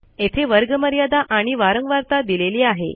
येथे वर्गमर्यादा आणि वारंवारता दिलेली आहे